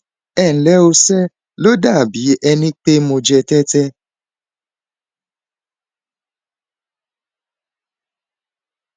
ẹ nlẹ o ńṣe ló dàbí ẹni pé mo jẹ tẹtẹ